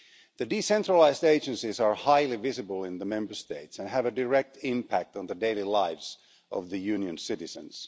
The decentralised agencies are highly visible in the Member States and have a direct impact on the daily lives of the Union's citizens.